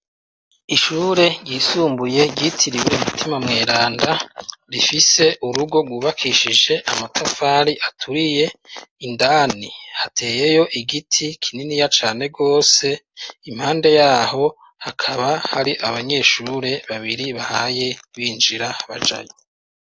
Ishure ryisumbuye ryitiriwe umutima mweranda rifise urugo gubakishije amatafari aturiye, indani hateyeyo igiti kininiya cane gose impande yaho hakaba hari abanyeshure babiri bahaye b'injira bajayo.